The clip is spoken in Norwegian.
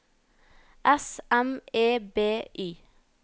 S M E B Y